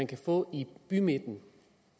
kan få i bymidten